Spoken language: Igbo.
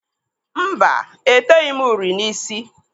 Mba, eteghi m uri n'ísí.